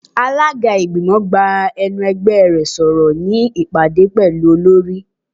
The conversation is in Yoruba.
Alaga igbimọ gbá enú elẹgbẹ rẹ sọrọ ni ipade pẹlu olori.